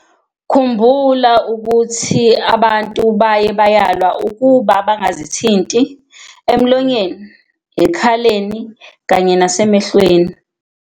"Khumbula ukuthi, abantu baye bayalwa ukuba bangazithinti emlonyeni, ekhaleni kanye nasemehlweni."